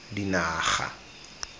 dinaga